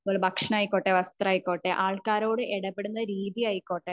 അത്പോലെ ഭക്ഷണം ആയിക്കോട്ടെ വസ്ത്രം ആയിക്കോട്ടെ ആൾക്കാരോട് ഇടപെടുന്ന രീതി ആയിക്കോട്ടെ